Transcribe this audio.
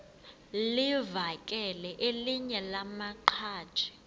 livakele elinye lamaqhaji